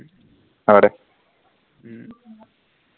হব দে উম